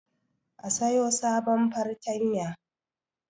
A siyo sabon fartanya